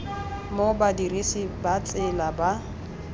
mo badirisi ba tsela ba